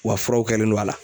furaw kɛlen don a la.